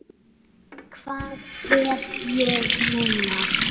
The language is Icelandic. Hvað er ég núna?